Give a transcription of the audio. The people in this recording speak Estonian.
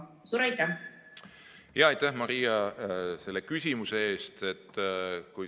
Aitäh, Maria, selle küsimuse eest!